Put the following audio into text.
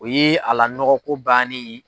O ye ala nɔgɔ ko bannen ye.